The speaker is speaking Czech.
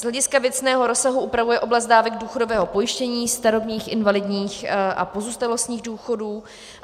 Z hlediska věcného rozsahu upravuje oblast dávek důchodového pojištění, starobních, invalidních a pozůstalostních důchodů.